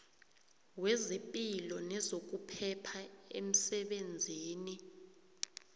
wezepilo nezokuphepha emsebenzini